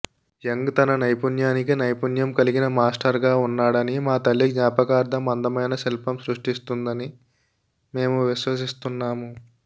young తన నైపుణ్యానికి నైపుణ్యం కలిగిన మాస్టర్గా ఉన్నాడని మా తల్లి జ్ఞాపకార్థం అందమైన శిల్పం సృష్టిస్తుందని మేము విశ్వసిస్తున్నాము